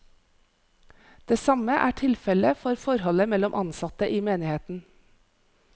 Det samme er tilfelle for forholdet mellom ansatte i menigheten.